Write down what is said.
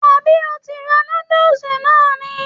Àbí o ti ra nódùsì náà ni??